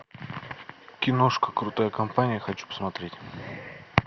киношка крутая компания хочу посмотреть